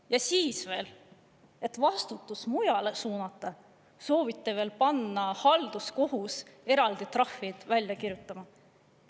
Ja siis veel, et vastutus mujale suunata, soovite panna halduskohut eraldi trahvid välja kirjutama.